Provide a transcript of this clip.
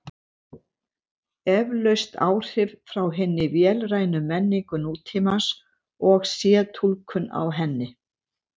Eflaust áhrif frá hinni vélrænu menningu nútímans og sé túlkun á henni.